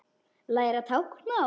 Læra táknmál